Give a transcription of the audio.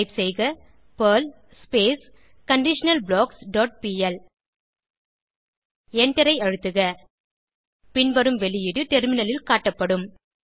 type செய்க Perl conditional blocks dot P L எண்டரை அழுத்துக பின்வரும் வெளியீடு டெர்மினலில் காட்டப்படும்